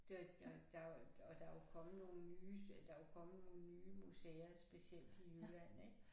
Der der der jo og der er jo kommet nogle nyes ja der er jo kommet nogle nye museer specielt i Jylland ik